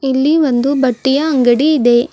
ಇಲ್ಲಿ ಒಂದು ಬಟ್ಟೆಯ ಅಂಗಡಿ ಇದೆ.